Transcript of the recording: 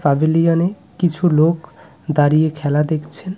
Pavilion -এ কিছু লোক দাঁড়িয়ে খেলা দেখছেন।